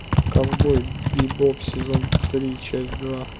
ковбой бипоп сезон три часть два